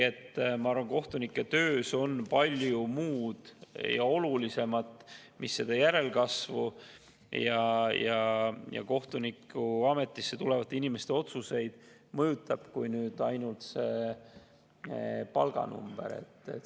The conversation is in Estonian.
Ent kohtunike töös on ehk palju muud ja olulisemat, mis nende järelkasvu ja kohtunikuametisse tulevate inimeste otsuseid mõjutab, kui ainult palganumber.